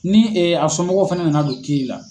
Ni a somɔgɔw fana nana don kiiri la.